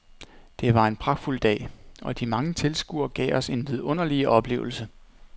Det var en pragtfuld dag, og de mange tilskuere gav os en vidunderlig oplevelse.